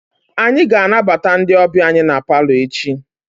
Anyị ga-anabata ndị ọbịa anyị na palọ echi.